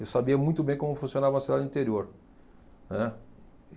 Eu sabia muito bem como funcionava a cidade do interior, né.